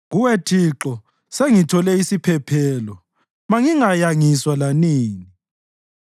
Kuwe Thixo, sengithole isiphephelo; mangingayangiswa lanini.